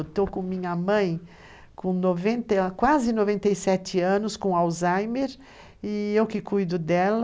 Eu estou com minha mãe com noven, com quase 97 anos, com Alzheimer, e eu que cuido dela.